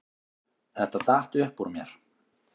Þetta datt upp úr mér